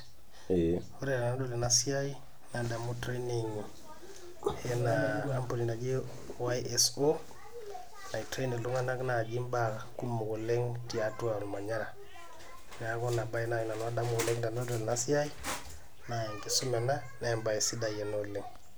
Ore enadol enasiai, nadamu training oshi enkampuni naji YSO, nai train iltung'anak naji mbaa kumok oleng tiatua ormanyara. Neeku inabae nai nanu adamu oleng tenadol enasiai, nenkisuma ena, nebae sidai ena oleng.